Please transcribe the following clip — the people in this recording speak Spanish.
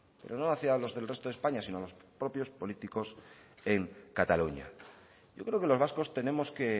pero no hacia los del resto de españa sino a los propios políticos en cataluña yo creo que los vascos tenemos que